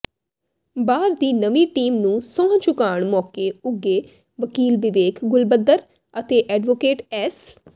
ਬਾਰ ਦੀ ਨਵੀਂ ਟੀਮ ਨੰੂ ਸੌਂਹ ਚੁਕਾਉਣ ਮੌਕੇ ਉੱਘੇ ਵਕੀਲ ਵਿਵੇਕ ਗੁਲਬੱਧਰ ਅਤੇ ਐਡਵੋਕੇਟ ਐਸ